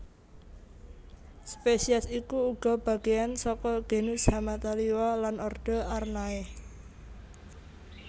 Spesies iki uga bagéyan saka genus Hamataliwa lan ordo Araneae